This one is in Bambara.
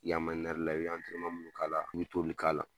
I y'a la, i bɛ minnu k'a la i bɛ t'olu k'a la.